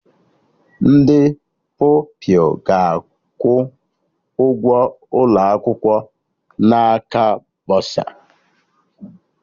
Ndị Pupilụ ga-akwụ ụgwọ ụlọ akwụkwọ n'aka bọsa